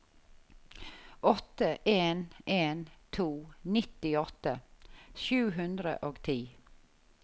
åtte en en to nittiåtte sju hundre og ti